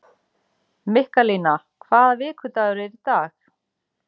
Mikkalína, hvaða vikudagur er í dag?